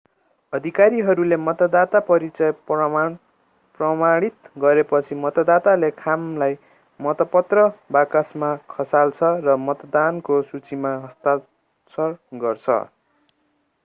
अधिकारीहरूले मतदाता परिचय प्रमाणित गरेपछि मतदाताले खामलाई मतपत्र बाकसमा खसाल्छ र मतदानको सूचीमा हस्ताक्षर गर्छ